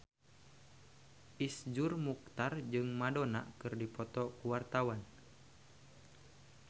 Iszur Muchtar jeung Madonna keur dipoto ku wartawan